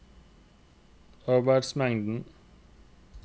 arbeidsmengden